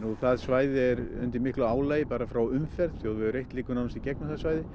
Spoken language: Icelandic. nú það svæði er undir miklu álagi bara frá umferð þjóðvegur eitt liggur nánast í gegnum það svæði